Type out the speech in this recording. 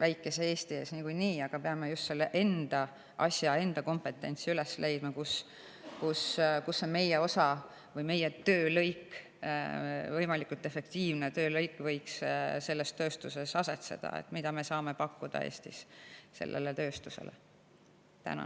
väikese Eesti ees niikuinii eelis, aga me peame üles leidma just selle enda asja, enda kompetentsi, kus võiks selles tööstuses asetseda see meie osa või töölõik, võimalikult efektiivne töölõik, see, mida me saame Eestis sellele tööstusele pakkuda.